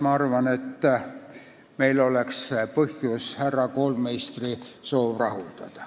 Ma arvan, et meil oleks põhjust härra Koolmeistri soov rahuldada.